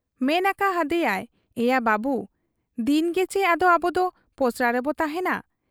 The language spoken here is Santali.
ᱢᱮᱱ ᱟᱠᱟ ᱦᱟᱫᱮᱭᱟᱭ ᱼᱼ 'ᱮᱭᱟ ᱵᱟᱹᱵᱩ ! ᱫᱤᱱᱜᱮᱪᱤ ᱟᱫᱚ ᱟᱵᱚᱫᱚ ᱯᱚᱥᱲᱟ ᱨᱮᱵᱚ ᱛᱟᱦᱮᱸᱱᱟ ᱾